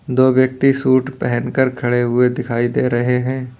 दो व्यक्ति सूट पहन कर खड़े हुए दिखाई दे रहे हैं।